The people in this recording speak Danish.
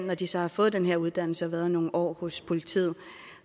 når de så har fået den her uddannelse og været nogle år hos politiet